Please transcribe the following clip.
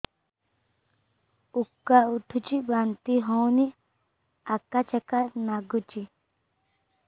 ଉକା ଉଠୁଚି ବାନ୍ତି ହଉନି ଆକାଚାକା ନାଗୁଚି